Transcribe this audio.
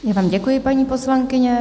Já vám děkuji, paní poslankyně.